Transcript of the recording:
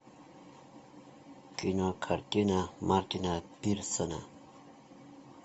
кинокартина мартина пирсона